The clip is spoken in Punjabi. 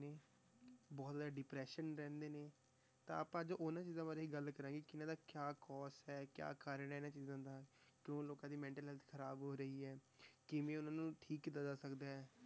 ਬਹੁਤ ਜ਼ਿਆਦਾ depression ਰਹਿੰਦੇ ਨੇ, ਤਾਂ ਆਪਾਂ ਅੱਜ ਉਹਨਾਂ ਚੀਜ਼ਾਂ ਬਾਰੇ ਹੀ ਗੱਲ ਕਰਾਂਗੇ ਕਿ ਇਹਨਾਂ ਦਾ ਕਿਆ cause ਹੈ ਕਿਆ ਕਾਰਨ ਹੈ ਇਹਨਾਂ ਚੀਜ਼ਾਂ ਦਾ, ਕਿਉਂ ਲੋਕਾਂ ਦੀ mental health ਖ਼ਰਾਬ ਹੋ ਰਹੀ ਹੈ, ਕਿਵੇਂ ਉਹਨਾਂ ਨੂੰ ਠੀਕ ਕੀਤਾ ਜਾ ਸਕਦਾ ਹੈ,